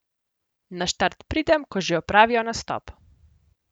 Na štart pridem, ko že opravijo nastop.